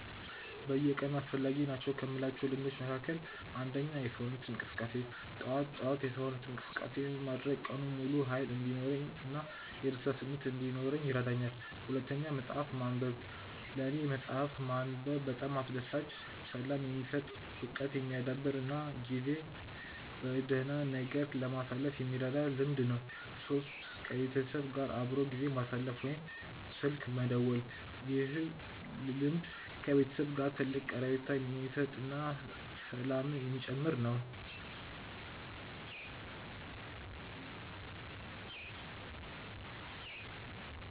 በየቀኑ አስፈላጊ ናቸው ከምላቸው ልምዶች መካከል፦ 1. የሰውነት እንቅስቃሴ፦ ጠዋት ጠዋት የሰውነት እንቅስቃሴ ማድረግ ቀኑን ሙሉ ሃይል እንዲኖረኝ እና የደስታ ስሜት እንዲኖረኝ ይረዳኛል። 2. መፅሐፍ ማንበብ፦ ለኔ መፅሐፍ ማንበብ በጣም አስደሳች፣ ሰላም የሚሰጥ፣ እውቀት የሚያዳብር እና ጊዜን በደህና ነገር ለማሳለፍ የሚረዳኝ ልምድ ነው። 3. ከቤተሰብ ጋር አብሮ ጊዜ ማሳለፍ ወይም ስልክ መደወል፦ ይህ ልምድ ከቤተሰብ ጋር ትልቅ ቀረቤታ የሚሰጥ እና ሰላምን የሚጨምር ነው